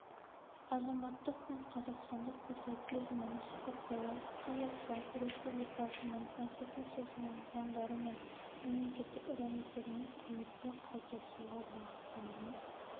азаматтық пен қазақстандық патриотизмді насихаттауға қазақстан республикасының конституциясына заңдары мен мемлекеттік рәміздеріне құрметті қалыптастыруға бағытталған